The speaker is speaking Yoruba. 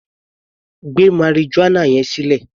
Gbé marijuana yẹn sílẹ̀!